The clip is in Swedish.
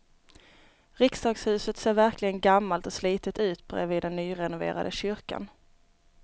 Riksdagshuset ser verkligen gammalt och slitet ut bredvid den nyrenoverade kyrkan.